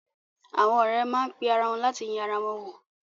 Àwọn ọ̀rẹ́ má pe ara wọn láti yẹ ara wọn wò.